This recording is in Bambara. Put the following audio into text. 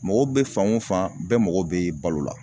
Mɔgɔ bɛ fan o fan bɛɛ mago bɛ balo la